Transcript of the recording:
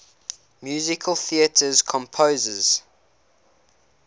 musical theatre composers